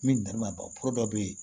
Min nɛmama pro dɔ bɛ yen